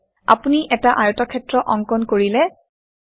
আপুনি এটা আয়তক্ষেত্ৰ অংকন কৰিলে160